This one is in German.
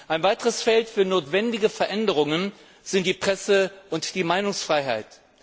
Ein weiteres Feld für notwendige Veränderungen ist die Presse und die Meinungsfreiheit.